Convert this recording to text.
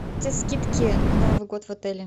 скидки на новый год в отеле